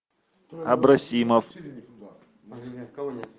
абросимов